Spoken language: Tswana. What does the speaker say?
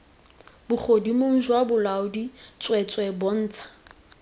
bogodimong jwa bolaodi tsweetswee bontsha